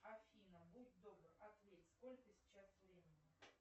афина будь добр ответь сколько сейчас времени